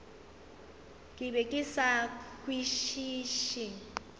ke be ke sa kwešiše